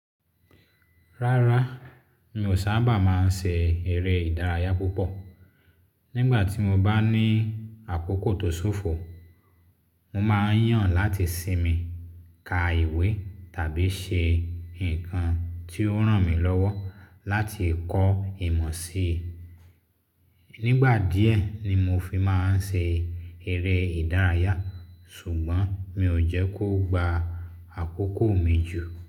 Rárá, mi ò sábà máa ń ṣe eré ìdárayá púpọ̀. Nígbà tí mo bá ní àkókò tó ṣófo, mo máa ń yàn láti sinmi, ka ìwé tàbí ṣe nǹkan tí ó ràn mí lọ́wọ́ láti kọ́ ìmọ̀ sí i. Nígbà díẹ̀ ni mo fi máa ń ṣe eré ìdárayá, ṣùgbọ́n mi ò jẹ́ kó gba àkókò mi jù.